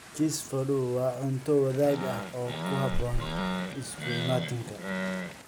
Cheese fondue waa cunto wadaag ah oo ku habboon isu imaatinka.